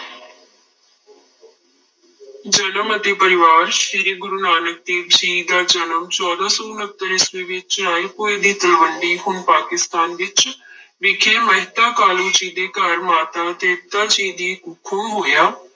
ਜਨਮ ਅਤੇ ਪਰਿਵਾਰ, ਸ੍ਰੀ ਗੁਰੂ ਨਾਨਕ ਦੇਵ ਜੀ ਦਾ ਜਨਮ ਚੌਦਾਂ ਸੌ ਉਣਤਰ ਈਸਵੀ ਵਿੱਚ ਰਾਏਭੋਇ ਦੀ ਤਲਵੰਡੀ ਹੁਣ ਪਾਕਿਸਤਾਨ ਵਿੱਚ ਵਿਖੇ ਮਹਿਤਾ ਕਾਲੂ ਜੀ ਦੇ ਘਰ ਮਾਤਾ ਤ੍ਰਿਪਤਾ ਜੀ ਦੀ ਕੁੱਖੋਂ ਹੋਇਆ।